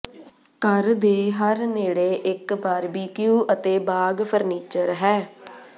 ਘਰ ਦੇ ਹਰ ਨੇੜੇ ਇੱਕ ਬਾਰਬਿਕਯੂ ਅਤੇ ਬਾਗ ਫਰਨੀਚਰ ਹੈ